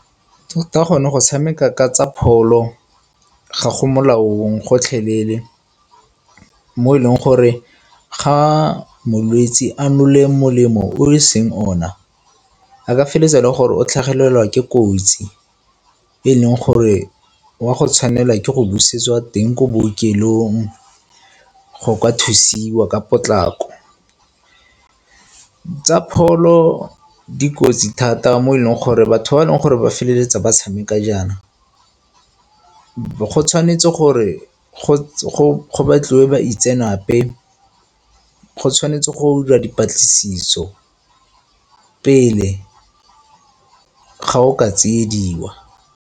gone go tshameka ka tsa pholo ga go molaong gotlhelele mo e leng gore ga molwetsi a nole molemo o e seng ona a ka feleletsa e le gore o tlhagelelwa ke kotsi e leng gore o a go tshwanelwa ke go busetswa teng ko bookelong go ka thusiwa ka potlako. Tsa pholo di kotsi thata mo e leng gore batho ba e leng gore ba feleletsa ba tshameka jaana go tshwanetse gore go batliwe baitseanape go tshwanetse go diriwa dipatlisiso pele ga o ka tsiediwa.